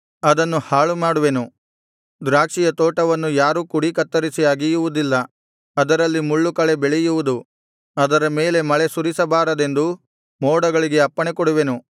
ಅದನ್ನು ಹಾಳುಮಾಡುವೆನು ದ್ರಾಕ್ಷಿಯ ತೋಟವನ್ನು ಯಾರೂ ಕುಡಿ ಕತ್ತರಿಸಿ ಅಗೆಯುವುದಿಲ್ಲ ಅದರಲ್ಲಿ ಮುಳ್ಳುಕಳೆ ಬೆಳೆಯುವುದು ಅದರ ಮೇಲೆ ಮಳೆ ಸುರಿಸಬಾರದೆಂದು ಮೋಡಗಳಿಗೆ ಅಪ್ಪಣೆ ಕೊಡುವೆನು